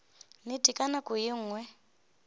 nnete ka nako ye nngwe